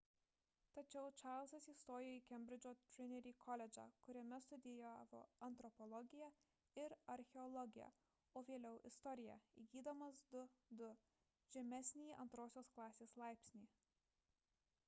tačiau čarlzas įstojo į kembridžo trinity koledžą kuriame studijavo antropologiją ir archeologiją o vėliau – istoriją įgydamas 2:2 žemesnįjį antrosios klasės laipsnį